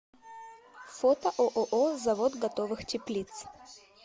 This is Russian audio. фото ооо завод готовых теплиц